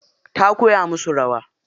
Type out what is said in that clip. Ta kowa musu rawa.